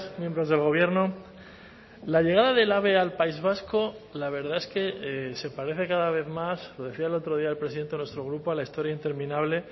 miembros del gobierno la llegada del ave al país vasco la verdad es que se parece cada vez más lo decía el otro día el presidente de nuestro grupo a la historia interminable